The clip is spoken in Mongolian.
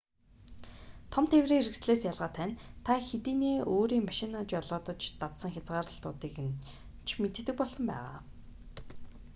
том тээврийн хэрэгслээс ялгаатай нь та хэдийнээ өөрийн машинаа жолоодож дадсан хязгаарлалтуудыг нь ч мэддэг болсон байгаа